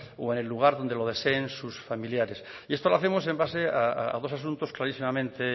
o en el lugar donde lo deseen sus familiares y esto lo hacemos en base a dos asuntos clarísimamente